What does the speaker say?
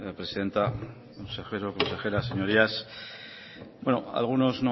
presidenta consejeros consejeras señorías algunos